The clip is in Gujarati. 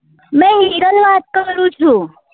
વાત તો કરું છુ